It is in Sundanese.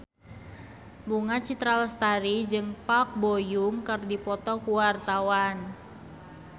Bunga Citra Lestari jeung Park Bo Yung keur dipoto ku wartawan